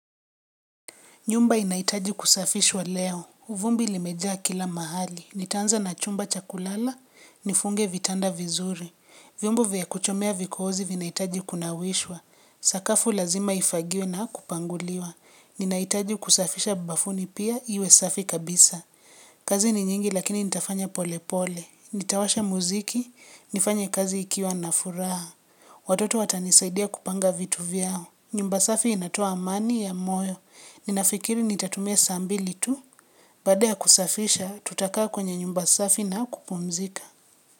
Nyumba inahiitaji kusafishwa leo. Uvumbi limejaa kila mahali. Nitaanza na chumba cha kulala, nifunge vitanda vizuri. Vyombo vya kuchomea vikozi vinahitaji kunawishwa. Sakafu lazima ifagiwe na kupanguliwa. Ninahitaji kusafisha bafuni pia iwe safi kabisa. Kazi ni nyingi lakini nitafanya pole pole. Nitawasha muziki, nifanye kazi nikiwa na furaha. Watoto watanisaidia kupanga vitu vyao. Nyumba safi inatoa amani ya moyo. Ninafikiri nitatumia saa mbili tu, baada ya kusafisha tutakaa kwenye nyumba safi na kupumzika.